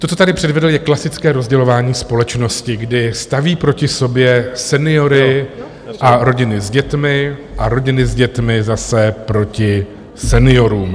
To, co tady předvedl je klasické rozdělování společnosti, kdy staví proti sobě seniory a rodiny s dětmi a rodiny s dětmi zase proti seniorům.